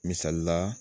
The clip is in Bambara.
Misali la